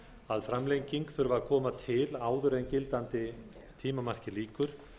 að framlenging þurfi að koma til áður en gildandi tímamarki lýkur